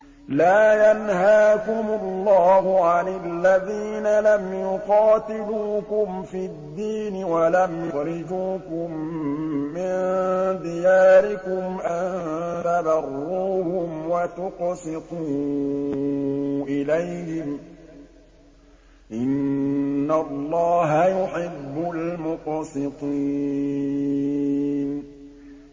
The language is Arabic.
لَّا يَنْهَاكُمُ اللَّهُ عَنِ الَّذِينَ لَمْ يُقَاتِلُوكُمْ فِي الدِّينِ وَلَمْ يُخْرِجُوكُم مِّن دِيَارِكُمْ أَن تَبَرُّوهُمْ وَتُقْسِطُوا إِلَيْهِمْ ۚ إِنَّ اللَّهَ يُحِبُّ الْمُقْسِطِينَ